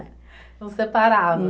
Não separava?